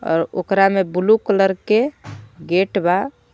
आ ओकरा में ब्लू कलर के गेट बा.